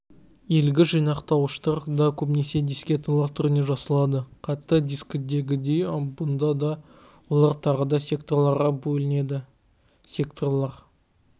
иілгіш жинақтауыштар да көбінесе дискеталар түрінде жасалады қатты дискідегідей бұнда да олар тағыда секторларға бөлінеді секторлар